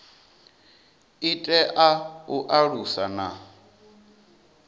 i tea u alusa na